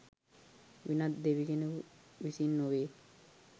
වෙනත් දෙවි කෙනෙකු විසින් නොවේ.